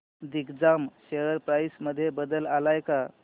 Digjam share price मध्ये बदल आलाय का